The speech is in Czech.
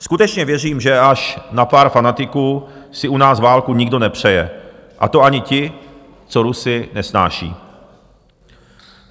Skutečně věřím, že až na pár fanatiků si u nás válku nikdo nepřeje, a to ani ti, co Rusy nesnášejí.